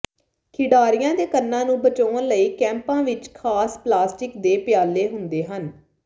ਖਿਡਾਰੀਆਂ ਦੇ ਕੰਨਾਂ ਨੂੰ ਬਚਾਉਣ ਲਈ ਕੈਪਾਂ ਵਿੱਚ ਖਾਸ ਪਲਾਸਟਿਕ ਦੇ ਪਿਆਲੇ ਹੁੰਦੇ ਹਨ